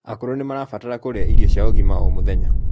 Akũrũ nimarabtara kurĩa irio cia ũgima o mũthenya